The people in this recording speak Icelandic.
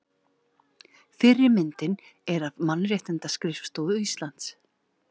Fyrri myndin er af Mannréttindaskrifstofu Íslands.